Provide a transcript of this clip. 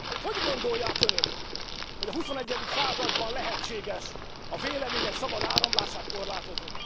Hogy gondolják önök, hogy a huszonegyedik században lehetséges a vélemények szabad áramlását korlátozni?